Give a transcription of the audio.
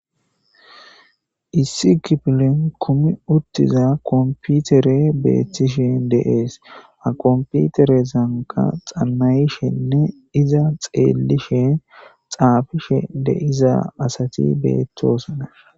Issi kiffilen kuumi uttida komppitere bettishe de'es ha komppiterezankka xaana'ishene iiza xellishe xaffishe deiza asati bettossona.